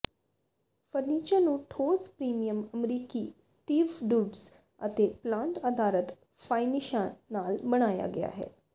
furniture ਨੂੰ ਠੋਸ premium ਅਮਰੀਕੀ ਸਟੀਵਡੁਡਜ਼ ਅਤੇ ਪਲਾਂਟ ਆਧਾਰਤ ਫਾਈਨਿਸ਼ਾਂ ਨਾਲ ਬਣਾਇਆ ਗਿਆ ਹੈ